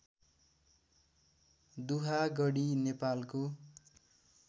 दुहागडी नेपालको